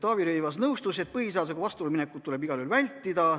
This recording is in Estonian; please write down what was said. Taavi Rõivas nõustus, et põhiseadusega vastuollu minekut tuleb igal juhul vältida.